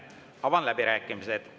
Avan läbirääkimised.